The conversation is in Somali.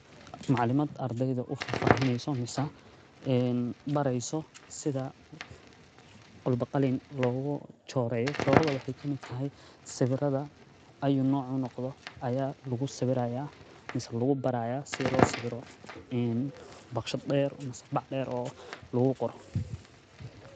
Macliimaad ardaydu u fahfaheynayso misna in barayso sida qalbo-qalin loogu joorayo. Joorado wixii kami taay sawiratha ay noocan noqdo ayaa lagu sawiraya, lugu barayaa sida loo sabiro in bakshe dheer macnaheeb bac dheer oo laguu koro.